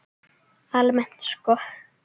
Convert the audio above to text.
Almennt sko?